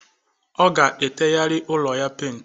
Ọ ga-eteharị ụlọ ya penti